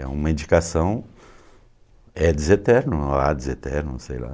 É uma indicação, é deseterno, há deseterno, sei lá.